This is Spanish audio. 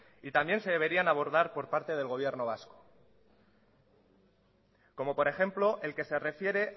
y también se deberían de abordar por parte del gobierno vasco como por ejemplo el que se refiere